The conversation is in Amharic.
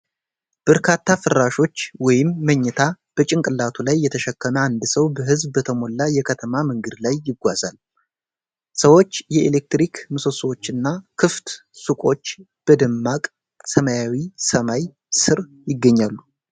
በርካታ ፍራሾች (መኝታ) በጭንቅላቱ ላይ የተሸከመ አንድ ሰው በሕዝብ በተሞላ የከተማ መንገድ ላይ ይጓዛል። ሰዎች፣ የኤሌክትሪክ ምሰሶዎችና ክፍት ሱቆች በደማቅ ሰማያዊ ሰማይ ስር ይገኛሉ።